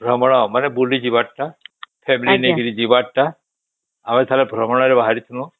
ଭ୍ରମଣ ମାନେ ବୁଲି ଯିବାର ଟା family ନେଇକି ଯିବାର ଟା ଆମେ ଥରେ ଭ୍ରମଣ ରେ ବାହାରିଥିଲୁ